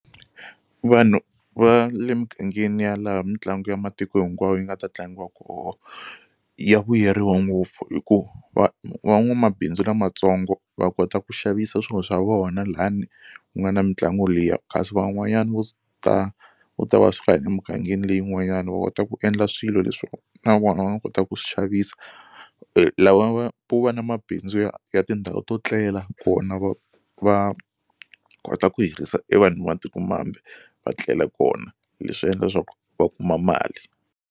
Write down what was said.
Vanhu va le mugangeni ya laha mitlangu ya matiko hinkwawo yi nga ta tlangiwa koho ya vuyeriwa ngopfu hikuva va van'wamabindzu lamatsongo va kota ku xavisa swilo swa vona lani ku nga na mitlangu liya kasi van'wanyana vo vo ta va suka emugangeni leyin'wanyana va kota ku endla swilo leswi na vona va nga kotaka ku swi xavisa. lava va vo va na mabindzu ya ya tindhawu to tlela kona va va kota ku hirisa e vanhu va matikomambe va tlela kona leswi endla leswaku va kuma mali.